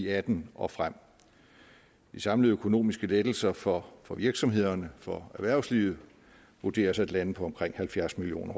atten og frem de samlede økonomiske lettelser for for virksomhederne for erhvervslivet vurderes at lande på omkring halvfjerds million